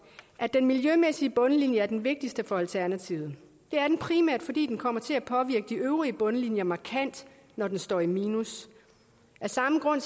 at den miljømæssige bundlinje er den vigtigste for alternativet det er den primært fordi den kommer til at påvirke de øvrige bundlinjer markant når den står i minus af samme grund